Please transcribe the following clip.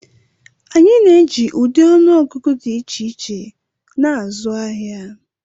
Anyị na-eji ụdị ọnụ ọgụgụ dị iche iche na-azụ ahịa.